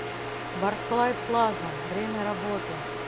барклай плаза время работы